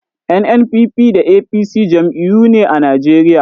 NNPP da APC jam'iyyoyi ne a Najeriya.